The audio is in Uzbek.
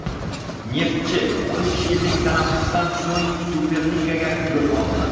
"Neftchi" uch yillik tanaffusdan so‘ng Superligaga yo‘l oldi.